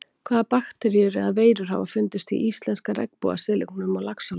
Hvaða bakteríur eða veirur hafa fundist í íslenska regnbogasilungnum á Laxalóni?